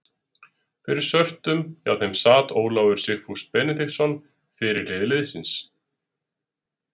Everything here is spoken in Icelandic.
Fyrir svörtum hjá þeim sat Ólafur Sigfús Benediktsson fyrirliði liðsins.